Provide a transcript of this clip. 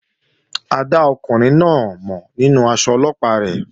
A dá ọkùnrin náà mọ̀ nínú aṣọ Ọlọ́pàá rẹ̀